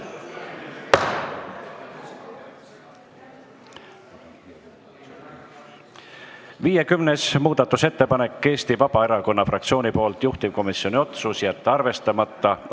50. muudatusettepanek on Eesti Vabaerakonna fraktsioonilt, juhtivkomisjoni otsus: jätta arvestamata.